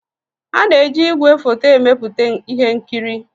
A na-eji ígwèfoto emepụta ihe nkiri.